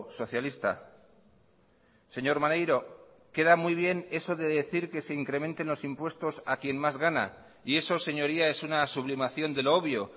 socialista señor maneiro queda muy bien eso de decir que se incrementen los impuestos a quien más gana y eso señoría es una sublimación de lo obvio